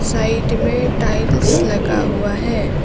Side में tiles लगा हुआ है।